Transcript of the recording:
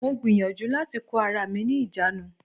Mo gbìyànjú láti kó ara mi ní ìjánu.